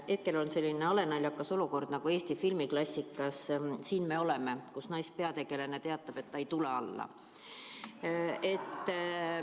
Hetkel on selline halenaljakas olukord nagu Eesti filmiklassikas "Siin me oleme", kus naispeategelane teatab, et ta ei tule alla.